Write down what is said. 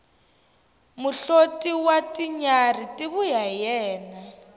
muhloti wa tinyarhi ti vuya hi yena